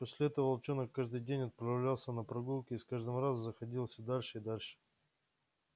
после этого волчонок каждый день отправлялся на прогулку и с каждым разом заходил всё дальше и дальше